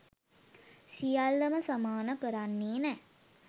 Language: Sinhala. සියල්ලම සමාන කරන්නේ නෑ